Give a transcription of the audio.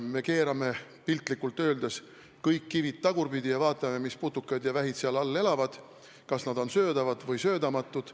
Me keerame piltlikult öeldes kõik kivid tagurpidi ja vaatame, mis putukad ja vähid seal all elavad, kas nad on söödavad või söödamatud.